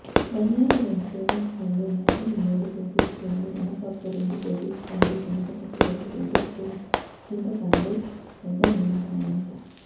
ధనియాలు రెండు టేబుల్స్పూన్లు నువ్వులు మూడు టేబుల్స్పూన్లు మినపప్పు రెండు టేబుల్స్పూన్లు శనగప్పు రెండు టేబుల్స్పూన్లు చింతపండు పెంద్దనిమ్మకాయంత